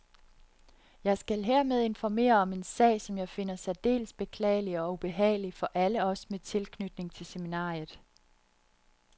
Jeg skal hermed informere om en sag, som jeg finder særdeles beklagelig og ubehagelig for alle os med tilknytning til seminariet.